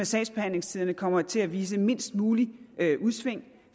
sagsbehandlingstiderne kommer til at vise mindst mulige udsving